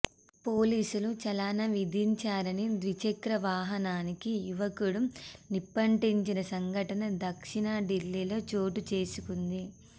పోలీసులు చలాన విధించారని ద్విచక్ర వాహనానికి యువకుడు నిప్పంటించిన సంఘటన దక్షిణ ఢిల్లీలో చోటు చేసుకుంది